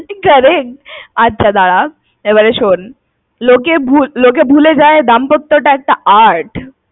আচ্ছা দাঁড়া, এবারে শোন। লোকে ভুলে যায় দাম্পত্য টা একটা art